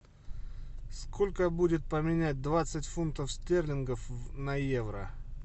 сколько будет поменять двадцать фунтов стерлингов на евро